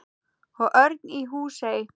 Og Örn í Húsey.